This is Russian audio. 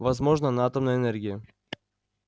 возможно на атомной энергии